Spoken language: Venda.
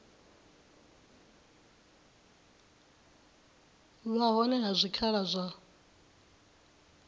vha hone ha zwikhala zwa